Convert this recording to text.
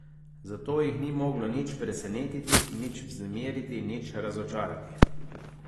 Zato jih ni moglo nič presenetiti, nič vznemiriti, nič razočarati.